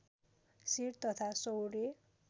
set तथा सौर्य